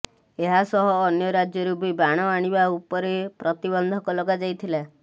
ଏହା ସହ ଅନ୍ୟ ରାଜ୍ୟରୁ ବି ବାଣ ଆଣିବା ଉପରେ ପ୍ରତିବନ୍ଧକ ଲଗାଯାଇଥିଲା